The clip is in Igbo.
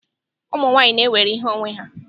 Ụmụ nwanyị na-ewere ihe onwe ha.